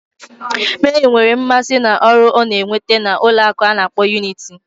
Mary nwere mmasị na ọrụ ọ na-enweta na Ụlọakụ ana akpo Unity